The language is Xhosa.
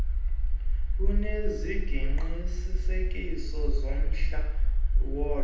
lunesiqinisekiso somhla wolo